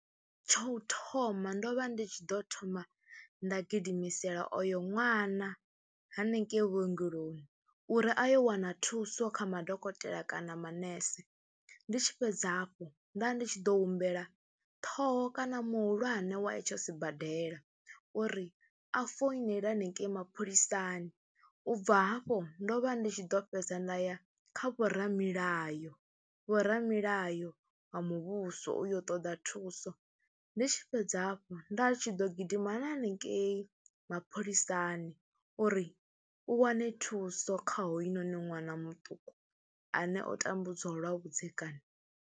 Tsha u thoma ndo vha ndi tshi ḓo thoma nda gidimiseliwa o yo ṅwana hanengei vhuongeloni uri a yo wana thuso kha madokotela kana manese. Ndi tshi fhedza hafho nda ndi tshi ḓo humbela ṱhoho kana muhulwane wa itsho sibadela uri a foinele hanengei mapholisani, u bva hafho ndo vha ndi tshi ḓo fhedza nda ya kha vhoramilayo, vhoramilayo wa muvhuso u yo ṱoḓa thuso. Ndi tshi fhedza hafhu nda tshi ḓo gidima hanengei mapholisani uri u wane thuso kha hoyunoni ṅwana muṱuku ane o tambudziwa lwa vhudzekani.